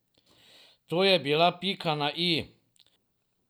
To je bila pika na i.